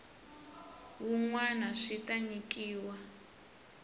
wun wana swi ta nyikiwa